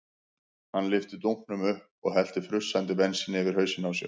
Hann lyfti dunknum upp og hellti frussandi bensíni yfir hausinn á sér.